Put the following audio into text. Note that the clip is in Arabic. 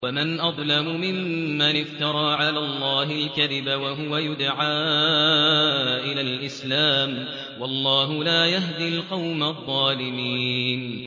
وَمَنْ أَظْلَمُ مِمَّنِ افْتَرَىٰ عَلَى اللَّهِ الْكَذِبَ وَهُوَ يُدْعَىٰ إِلَى الْإِسْلَامِ ۚ وَاللَّهُ لَا يَهْدِي الْقَوْمَ الظَّالِمِينَ